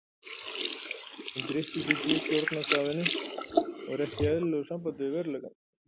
Hinn drykkjusjúki stjórnast af henni og er ekki í eðlilegu sambandi við veruleikann.